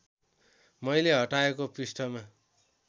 मैले हटाएको पृष्ठमा